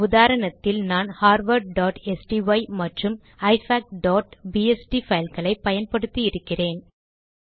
இந்த உதாரணத்தில் நான் harvardஸ்டை மற்றும் ifacபிஎஸ்டி பைல் களை பயன்படுத்தி இருக்கிறேன்